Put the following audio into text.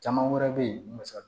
Caman wɛrɛ bɛ yen misali